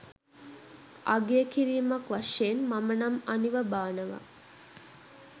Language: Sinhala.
අගය කිරීමක් වශයෙන් මම නම් අනිවා බානවා.